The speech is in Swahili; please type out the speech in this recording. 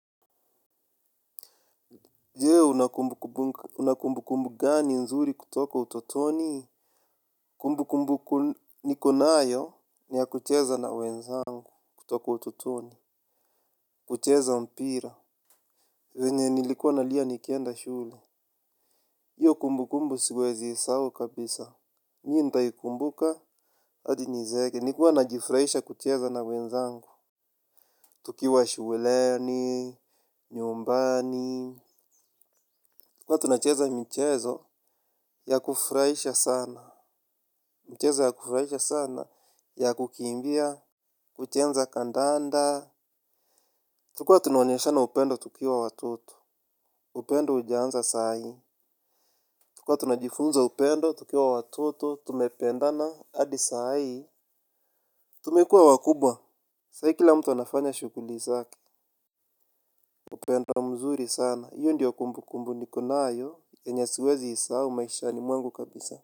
Je una kumbukumbu gani nzuri kutoka utotoni. Kumbu kumbu niko nayo ni ya kucheza na wenzangu kutoka utotoni. Kucheza mpira venye nilikuwa nalia nikenda shule. Hiyo kumbu kumbu siwezi isahau kabisa. Mimi nitaikumbuka hadi nizeeke. Nilikuwa najifurahisha kucheza na wenzangu. Tukiwa shuleni nyumbani. Huwa tunacheza michezo, ya kufurahisha sana. Michezo ya kufurahisha sana ya kukimbia, kucheza kandanda tulikuwa tunaonyeshana upendo tukiwa watoto. Upendo hujaanza sahii tulikuwa tunajifunza upendo tukiwa watoto tumependana, hadi sahii. Tumekuwa wakubwa. Sahii kila mtu anafanya shughuli zake. Upendo mzuri sana hio ndio kumbu kumbu niko nayo yenye siwezi sahau maishani mwangu kabisa.